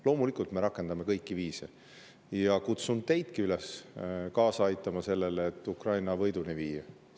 Loomulikult me rakendame kõiki viise, ja kutsun teidki üles kaasa aitama sellele, et Ukraina võiduni viia.